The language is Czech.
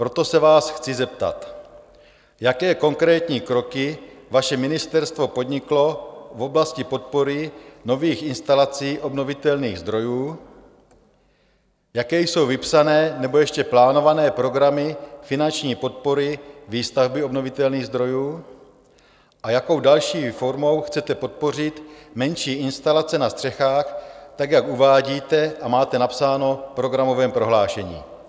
Proto se vás chci zeptat: Jaké konkrétní kroky vaše ministerstvo podniklo v oblasti podpory nových instalací obnovitelných zdrojů, jaké jsou vypsané nebo ještě plánované programy finanční podpory výstavby obnovitelných zdrojů a jakou další formou chcete podpořit menší instalace na střechách tak, jak uvádíte a máte napsáno v programovém prohlášení?